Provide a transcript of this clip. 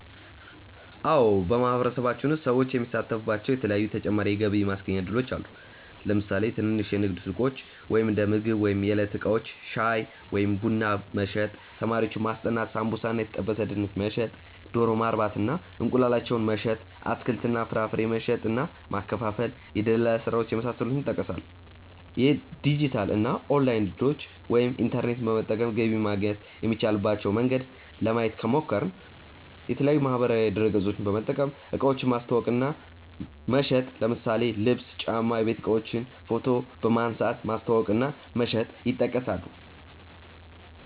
አዎ በማህበረሰባችን ውስጥ ሰዎች የሚሳተፉባቸዉ የተለያዪ ተጨማሪ የገቢ ማስገኛ እድሎች አሉ። ለምሳሌ ትንንሽ የንግድ ሱቆች(እንደምግብ ወይም የዕለት እቃዎች) ፣ ሻይ ወይም ቡና መሸጥ፣ ተማሪዎችን ማስጠናት፣ ሳምቡሳ እና የተጠበሰ ድንች መሸጥ፣ ዶሮ ማርባት እና እንቁላላቸውን መሸጥ፣ አትክልት እና ፍራፍሬ መሸጥ እና ማከፋፈል፣ የድለላ ስራዎች የመሳሰሉት ይጠቀሳሉ። የዲጂታል እና ኦንላይን እድሎችን( ኢንተርኔት በመጠቀም ገቢ ማግኘት የሚቻልበት መንገድ) ለማየት ከሞከርን፦ የተለያዪ ማህበራዊ ድረገፆችን በመጠቀም እቃዎችን ማስተዋወቅ እና መሸጥ ለምሳሌ ልብስ፣ ጫማ፣ የቤት እቃዎችን ፎቶ በመንሳት ማስተዋወቅ እና መሸጥ ይጠቀሳሉ።